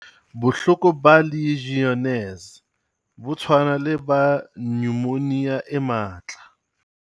Bohloko ba Legionnaires bo tshwana le ba nyomonia e matla.